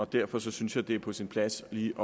derfor synes jeg det er på sin plads lige